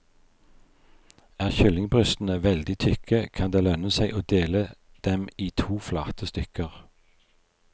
Er kyllingbrystene veldig tykke, kan det lønne seg å dele dem i to flate stykker.